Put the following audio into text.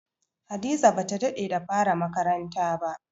Hadiza ba ta daɗe da fara makaranta ba.